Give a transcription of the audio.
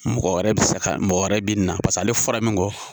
Mɔgɔ wɛrɛ be se ka ,mɔgɔ wɛrɛ be na paseke ale fɔra min kɔ .